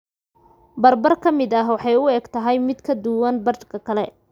Bar bar ka mid ah waxay u egtahay mid ka duwan badhka kale.